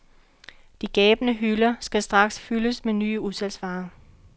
De gabende hylder skal straks fyldes med nye udsalgsvarer.